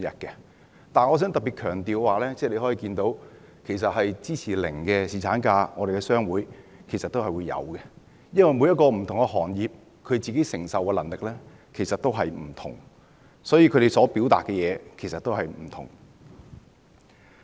可是，我想特別強調的是，從問卷結果可見，在商會中有人會支持沒有侍產假，因為不同行業承受的能力各有不同，所以，他們所表達的意見亦不相同。